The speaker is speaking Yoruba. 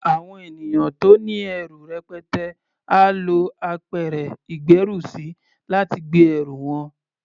Àwọn ènìyàn tó ní ẹrù rẹpẹtẹ á lo apẹ̀rẹ̀ ìgbérùsí, láti gbé ẹrù wọn.